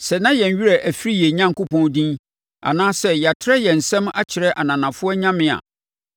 Sɛ na yɛn werɛ afiri yɛn Onyankopɔn din anaa sɛ yɛatrɛ yɛn nsam akyerɛ ananafoɔ nyame a